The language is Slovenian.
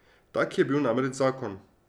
Tak je bil namreč zakon.